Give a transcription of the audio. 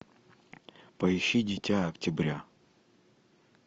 поищи дитя октября